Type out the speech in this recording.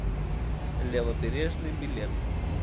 левобережный билет